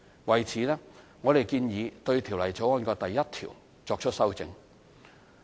為此，我們建議對《條例草案》第1條作出修正。